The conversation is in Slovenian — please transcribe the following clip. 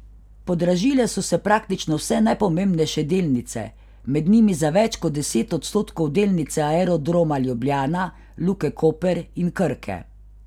Podražile so se praktično vse najpomembnejše delnice, med njimi za več kot deset odstotkov delnice Aerodroma Ljubljana, Luke Koper in Krke.